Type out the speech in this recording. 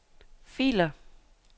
filer